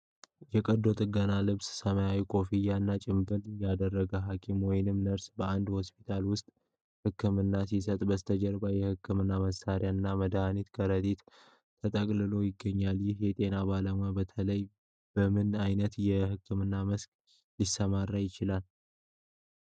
የቀዶ ጥገና ልብስ፣ ሰማያዊ ኮፍያ እና ጭምብል ያደረገ ሐኪም ወይም ነርስ በአንድ ሆስፒታል ውስጥ ሕክምና ሲሰጥ በስተጀርባ የህክምና መሳሪያዎች እና የመድኃኒት ከረጢት ተንጠልጥሎ ይገኛል። ይህ ጤና ባለሙያ በተለይ በምን ዓይነት የሕክምና መስክ ሊሰራ ይችላል?